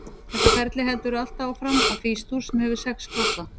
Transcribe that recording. Þetta ferli heldur áfram allt að Fís-dúr, sem hefur sex krossa.